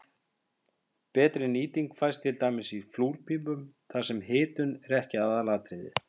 Betri nýting fæst til dæmis í flúrpípum þar sem hitun er ekki aðalatriðið.